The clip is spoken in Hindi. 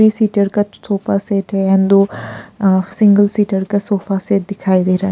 सीटर का सोफा सेट है एंड अ दो सिंगल सीटर का सोफा सेट दिखाई दे रहा है।